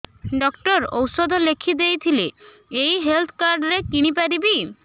doctor ଔଷଧ ଲେଖିଦେଇଥିଲେ ଏଇ ହେଲ୍ଥ କାର୍ଡ ରେ କିଣିପାରିବି